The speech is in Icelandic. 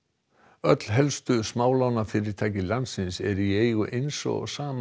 öll helstu smálánafyrirtæki landsins eru í eigu eins og sama